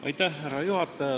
Härra juhataja!